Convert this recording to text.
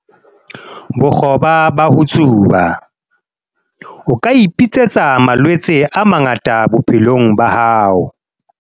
Bokgoba ba ho tsuba- O ka ipitsetsa malwetse a mangata bophelong ba hao